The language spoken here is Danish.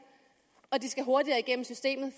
og de skal hurtigere igennem systemet